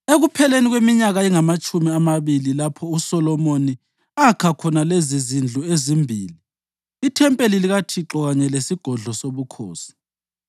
Ekupheleni kweminyaka engamatshumi amabili, lapho uSolomoni akha khona lezizindlu ezimbili, ithempeli likaThixo kanye lesigodlo sobukhosi,